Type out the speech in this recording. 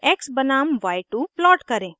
x बनाम y2 plot करें